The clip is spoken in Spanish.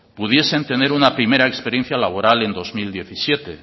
pudiesen tener una primera experiencia laboral en dos mil diecisiete